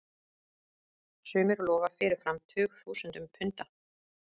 Sumir lofa fyrirfram tugþúsundum punda.